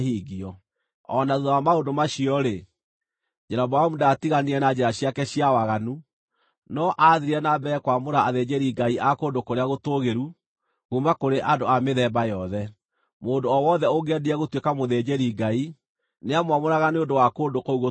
O na thuutha wa maũndũ macio-rĩ, Jeroboamu ndaatiganire na njĩra ciake cia waganu, no aathiire na mbere kwamũra athĩnjĩri-ngai a kũndũ kũrĩa gũtũũgĩru, kuuma kũrĩ andũ a mĩthemba yothe. Mũndũ o wothe ũngĩendire gũtuĩka mũthĩnjĩri-ngai, nĩamwamũraga nĩ ũndũ wa kũndũ kũu gũtũũgĩru.